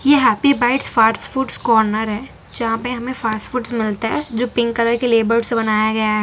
ये happy bites फाट्स foods corner है जहां पे हमें फाट्स फूड्स मिलते है जो पिंक कलर के लेबर्डस् से बनाया गया है।